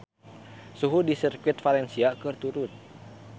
Suhu di Sirkuit Valencia keur turun